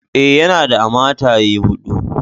Eh, yana da a mataye hudu.